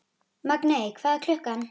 Magney, hvað er klukkan?